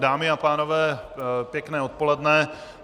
Dámy a pánové, pěkné odpoledne.